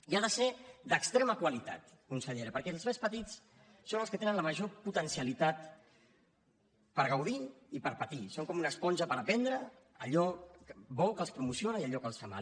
i ha de ser d’extrema qualitat consellera perquè els més petits són els que tenen la major potencialitat per gaudir i per patir són com una esponja per aprendre allò bo que els promociona i allò que els fa mal